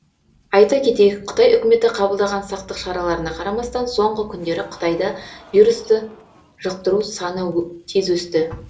айта кетейік қытай үкіметі қабылдаған сақтық шараларына қарамастан соңғы күндері қытайда вирусты жұқтыру саны тез өсті